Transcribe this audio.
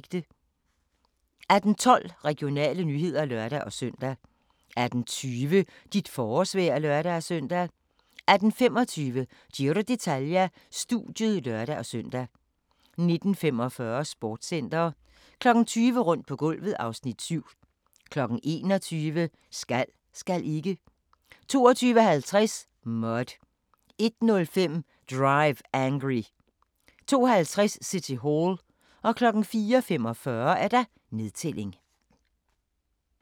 18:12: Regionale nyheder (lør-søn) 18:20: Dit forårsvejr (lør-søn) 18:25: Giro d'Italia: Studiet (lør-søn) 19:45: Sportscenter 20:00: Rundt på gulvet (Afs. 7) 21:00: Skal, skal ikke? 22:50: Mud 01:05: Drive Angry 02:50: City Hall 04:45: Nedtælling